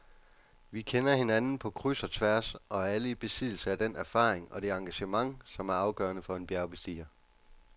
Vi kender hinanden på kryds og tværs og er alle i besiddelse af den erfaring og det engagement, som er afgørende for en bjergbestiger.